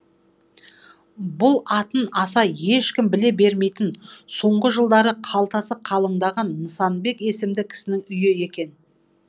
бұл атын аса ешкім біле бермейтін соңғы жылдары қалтасы қалыңдаған нысанбек есімді кісінің үйі екен